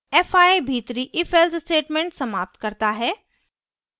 fi भीतरी ifelse statement समाप्त करता है